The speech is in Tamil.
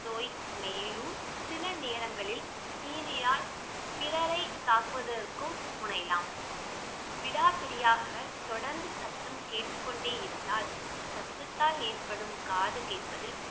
நோய் மேலும் சில நேரங்களில் TV யால் பிறரை தாக்குவதற்கும் முனையலாம் விடாப்பிடியாக தொடர்ந்து சத்தம் கேட்டுக் கொண்டே இருந்தால் சத்தத்தால் ஏற்படும் காது கேட்பதில்